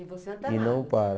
E não para.